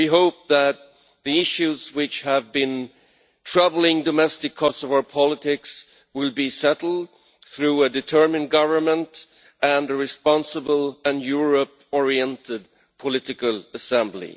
We hope that the issues which have been troubling domestic Kosovar politics will be settled through a determined government and a responsible and Europe oriented political assembly.